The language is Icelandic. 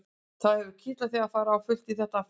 Það hefur kitlað þig að fara á fullt í þetta aftur?